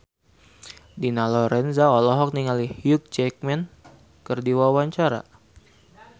Dina Lorenza olohok ningali Hugh Jackman keur diwawancara